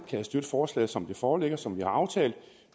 kan støtte forslaget som det foreligger og som vi har aftalt